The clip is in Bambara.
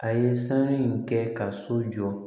A ye sanu in kɛ ka so jɔ